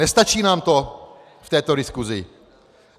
Nestačí nám to v této diskusi?